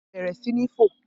Bẹ̀rẹ̀ sí ní fò